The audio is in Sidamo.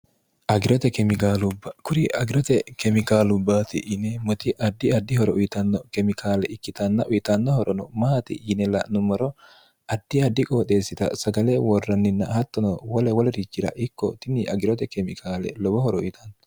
irokuri agirote kemikaalubbaati yine moti addi addihoro uyitanno kemikaale ikkitanna uyitannohorono maati yine la'nummoro addi addi qooxeessita sagale worranninna hattono wole wolirichira ikko tinni agirote kemikaale lobohoro uyitanno